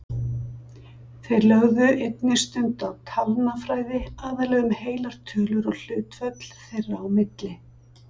Þeir lögðu einnig stund á talnafræði, aðallega um heilar tölur og hlutföll þeirra á milli.